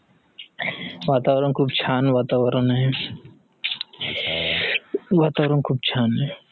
वातावरण. खूप छान वातावरण हे. वातावरण खूप छान हे